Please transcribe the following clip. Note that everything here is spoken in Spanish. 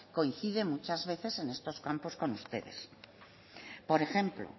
coincide muchas veces en estos campos con ustedes por ejemplo